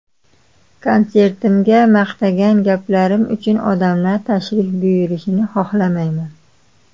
Konsertimga maqtagan gaplarim uchun odamlar tashrif buyurishini xohlamayman.